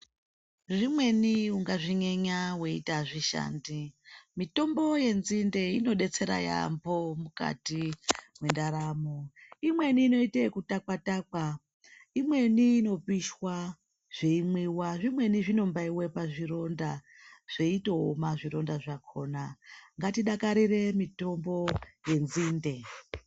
Zvimweni ungazvinyenya weiti azvishandi. Mitombo yenzinde inodetsera yaamho mukati mwendaramo. Imweni inoite kutakwa-takwa, imweni inopishwa, zveimwiwa, zvimweni zveimbaiwe pazvironda zveitooma zvironda zvakhona. Ngatidakarire mitombo yenzinde.